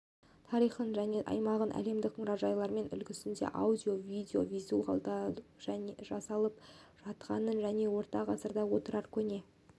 тарихын және аймағын әлемдік мұражайлар үлгісінде аудио-видео визуализациялау жасалып жатқанын және орта ғасырда отырар көне